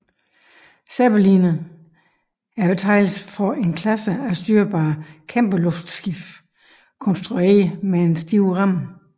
Zeppeliner er betegnelsen for en klasse af styrbare kæmpeluftskibe konstrueret med en stiv ramme